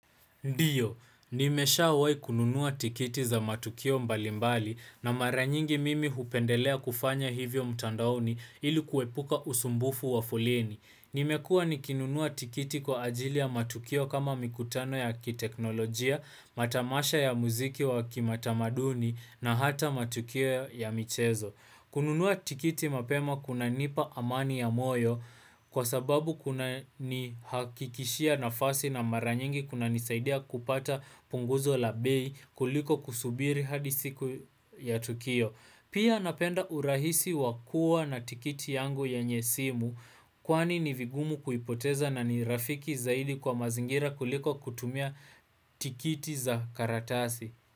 Ndiyo, nimeshawai kununua tikiti za matukio mbalimbali na maranyingi mimi hupendelea kufanya hivyo mtandaoni ili kuepuka usumbufu wa foleni. Nimekua nikinunuwa tikiti kwa ajili ya matukio kama mikutano ya kiteknolojia, matamasha ya muziki wa kimatamaduni na hata matukio ya michezo. Kununua tikiti mapema kunanipa amani ya moyo kwa sababu kunanihakikishia nafasi na maranyingi kunanisaidia kupata punguzo la bei kuliko kusubiri hadi siku ya Tukio. Pia napenda urahisi wakua na tikiti yangu yenye simu kwani ni vigumu kuipoteza na ni rafiki zaidi kwa mazingira kuliko kutumia tikiti za karatasi.